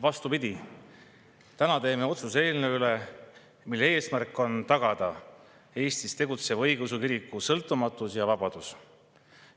Vastupidi, täna me teeme otsuse eelnõu üle, mille eesmärk on tagada Eestis tegutseva õigeusu kiriku sõltumatus ja vabadus.